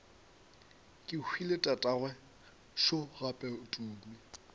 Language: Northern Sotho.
kehwile tatagwe šo gape tumi